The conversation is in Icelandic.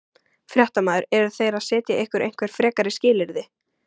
Fréttamaður: Eru þeir að setja ykkur einhver frekari skilyrði?